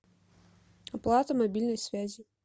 оплата мобильной связи